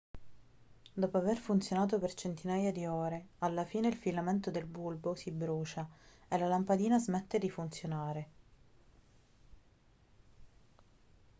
dopo aver funzionato per centinaia di ore alla fine il filamento del bulbo si brucia e la lampadina smette di funzionare